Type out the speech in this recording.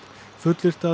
fullyrt að